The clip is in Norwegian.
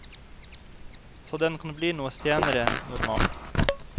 Så den kan bli noe senere enn normalt.